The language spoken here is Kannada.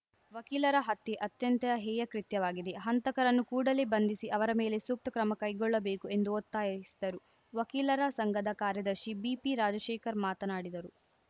ವಕೀಲರ ಹತ್ಯೆ ಅತ್ಯಂತ ಹೇಯ ಕೃತ್ಯವಾಗಿದೆ ಹಂತಕರನ್ನು ಕೂಡಲೇ ಬಂಧಿಸಿ ಅವರ ಮೇಲೆ ಸೂಕ್ತ ಕ್ರಮ ಕೈಗೊಳ್ಳಬೇಕು ಎಂದು ಒತ್ತಾಯಿಸಿದರು ವಕೀಲರ ಸಂಘದ ಕಾರ್ಯದರ್ಶಿ ಬಿಪಿರಾಜಶೇಖರ್‌ ಮಾತನಾಡಿದರು